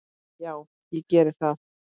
Já, ég geri það